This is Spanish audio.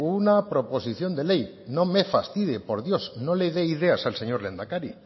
una proposición de ley no me fastidie por dios no le dé ideas al señor lehendakari